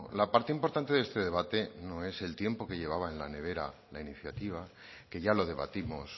la parte importante de este debate no es el tiempo que llevaba en la nevera la iniciativa que ya lo debatimos